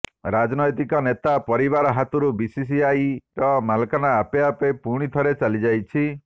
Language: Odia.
ରାଜନୈତିକ ନେତାଙ୍କ ପରିବାର ହାତକୁ ବିସିସିଆଇର ମାଲିକାନା ଆପେ ଆପେ ପୁଣିଥରେ ଚାଲି ଯାଇଛି